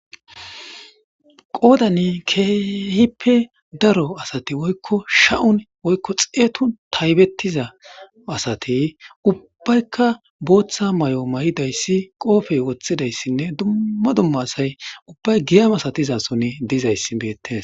qoodani keehippe daro asati woykko sha7un woykko xeetu taybettiza asati ubbaykka booththa may7o may7idayssi qoofey woththidayssinne dumma dumma asay ubbay giyamasatizason dizayssi beette.